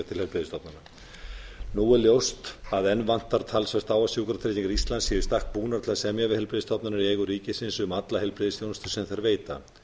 til heilbrigðisstofnana nú er ljóst að enn vantar talsvert á að sjúkratryggingar íslands séu í stakk búnar til að semja við heilbrigðisstofnanir í eigu ríkisins um alla heilbrigðisþjónustu sem þær veita